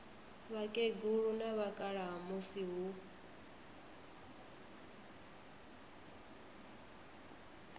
vhakegulu na vhakalaha musi hu